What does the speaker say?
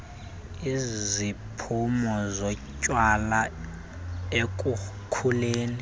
iziphumo zotywala ekukhuleni